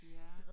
Ja